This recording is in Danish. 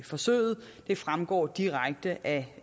forsøget det fremgår direkte af